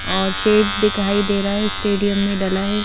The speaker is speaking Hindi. और शेड दिखाई दे रहा है स्टेडियम में डला है।